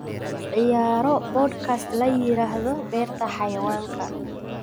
ciyaaro podcast la yiraahdo beerta xayawaanka